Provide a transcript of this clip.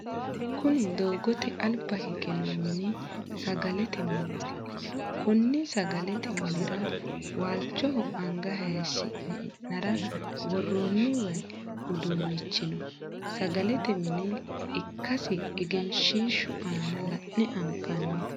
Kunni doogote alba hige noo minni sagalete mineeti. Konni sagalete minnira waalchoho anga hayishi'ne e'nara woroonni wayi uduunnichi no. Sagalete mine ikasi egenshiishu aanna la'ne anfanni.